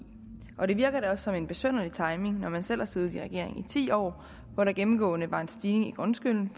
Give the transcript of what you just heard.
og det virker da også som en besynderlig timing når man selv har siddet i regering i ti år hvor der gennemgående var en stigning i grundskylden